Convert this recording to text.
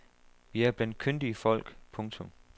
Vi er blandt kyndige folk. punktum